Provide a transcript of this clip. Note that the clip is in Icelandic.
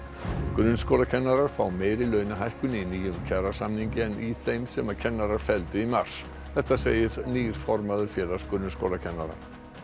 grunnskólakennarar fá meiri launahækkun í nýjum kjarasamningi en í þeim sem kennarar felldu í mars þetta segir nýr formaður Félags grunnskólakennara